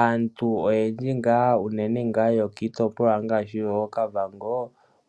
Aantu oyendji unene yokiitopolwa ngaashi yokOkavango